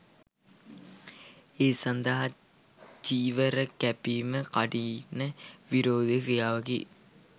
ඒ සඳහා චීවර කැපීම කඨින විරෝධි ක්‍රියාවකි.